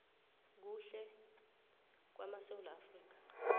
kuhle kwamasewula afrika